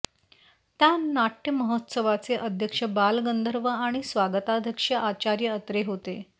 या नाट्यमहोत्सवाचे अध्यक्ष बालगंधर्व आणि स्वागताध्यक्ष आचार्य अत्रे होते